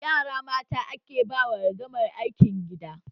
Yara mata ake ba wa ragamar aikin gida